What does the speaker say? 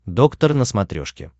доктор на смотрешке